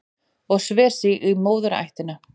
Og sver sig í móðurættina